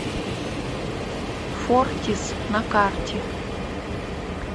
фортис на карте